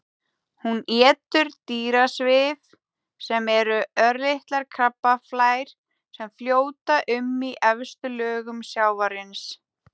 Hún étur dýrasvif sem eru örlitlar krabbaflær sem fljóta um í efstu lögum sjávarins.